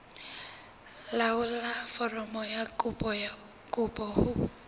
laolla foromo ya kopo ho